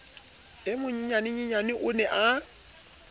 e monyenyaneyena o ne a